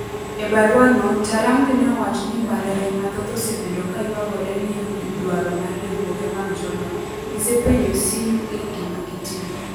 E barua no, Ntarangwi neowacho ni mbalariany mathoth osebedo kaywagore ni ewi dwaro mar riwruoge mag jolony. Gisepenjo CUE gima gitim.